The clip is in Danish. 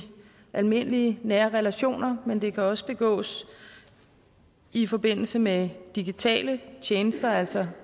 almindelige nære relationer men det kan også begås i forbindelse med digitale tjenester altså